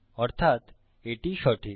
অর্থাত এটি সঠিক